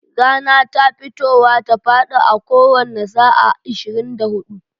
Rana ta fitowa ta faɗi a a kowanne sa'a ishirin da hudu.